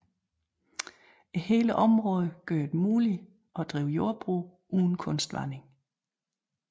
Hele området gjorde det muligt at drive jordbrug uden kunstvanding